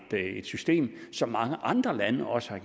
system som mange andre lande også har